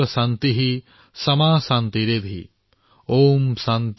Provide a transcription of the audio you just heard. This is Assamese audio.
सर्वं शान्तिःशान्तिरेव शान्तिः सामा शान्तिरेधि